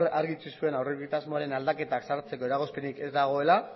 argi utzi zuen aurreko egitasmoaren aldaketak sartzeko eragozpenik ez dagoela